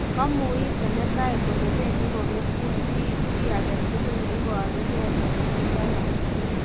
Kamouis senetaek kole bendi kokerchin bii chi aketukul neibaruke kole tindoi asoya